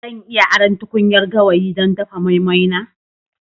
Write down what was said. Zan iya aron tukunyar gawayi don dafa moi-moi na?